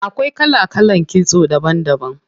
Akwai kala kalan kitso daban daban.